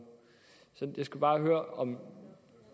jeg skal bare høre om